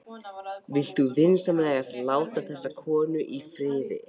Vilt þú vinsamlegast láta þessa konu í friði!